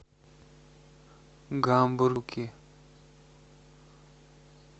гамбургер